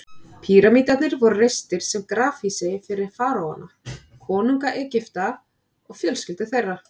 Píramídarnir voru reistir sem grafhýsi fyrir faraóana, konunga Egypta, og fjölskyldur þeirra.